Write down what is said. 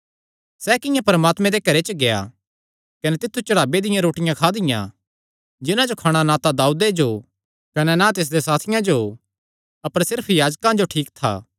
सैह़ किंआं परमात्मे दे घरे च गेआ कने तित्थु चढ़ावे दियां रोटियां खादियां जिन्हां जो खाणा ना तां दाऊदे जो कने ना तिसदे साथियां जो अपर सिर्फ याजकां जो ठीक था